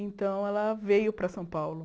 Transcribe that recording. Então, ela veio para São Paulo.